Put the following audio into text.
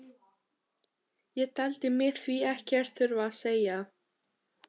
Ég taldi mig því ekkert þurfa að segja